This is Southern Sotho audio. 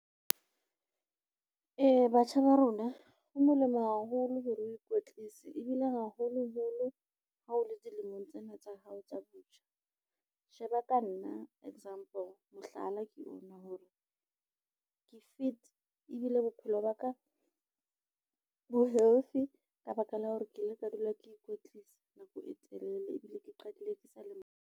Batjha ba rona, ho molemo haholo hore o ikwetlise ebile haholoholo ha o le dilemong tsena tsa hao tsa botjha sheba ka nna example, mohlala ke ona hore ke fit ebile bophelo ba ka bo healthy ka baka la hore ke ile ka dula ke ikwetlisa nako e telele ebile ke qadile ke sale monyane.